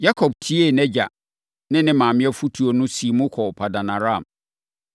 Yakob tiee nʼagya ne ne maame afotuo no siim kɔɔ Paddan-Aram.